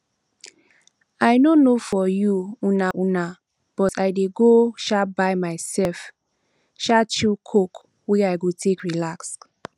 i no know for you um um but i dey go um buy myself um chill coke wey i go take relax